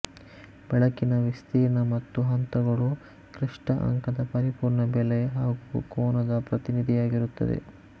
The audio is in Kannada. ಬೆಳಕಿನ ವಿಸ್ತೀರ್ಣ ಮತ್ತು ಹಂತಗಳು ಕ್ಲಿಷ್ಟ ಅಂಕದ ಪರಿಪೂರ್ಣ ಬೆಲೆ ಹಾಗೂ ಕೋನದ ಪ್ರತಿನಿಧಿಯಾಗಿರುತ್ತದೆ